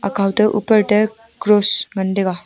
akhaw te uper te cross ngan taiga.